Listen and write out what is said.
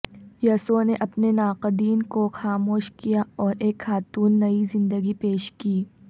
یسوع نے اپنے ناقدین کو خاموش کیا اور ایک خاتون نئی زندگی پیش کی